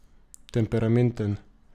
Temperamenten.